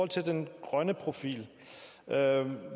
til den grønne profil